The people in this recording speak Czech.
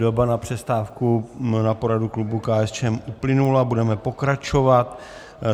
Doba na přestávku na poradu klubu KSČM uplynula, budeme pokračovat.